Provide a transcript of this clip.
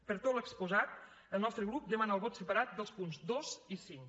per tot l’exposat el nostre grup demana el vot separat dels punts dos i cinc